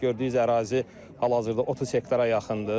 Gördüyünüz ərazi hal-hazırda 30 hektara yaxındır.